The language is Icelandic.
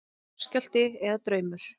Jarðskjálfti eða draumur?